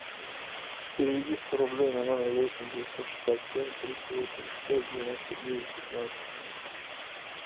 переведи сто рублей на номер восемь девятьсот шестьдесят семь триста восемьдесят пять девяносто девять пятнадцать